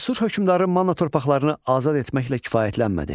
Asur hökmdarı Manna torpaqlarını azad etməklə kifayətlənmədi.